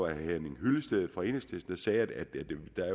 henning hyllested fra enhedslisten der sagde at det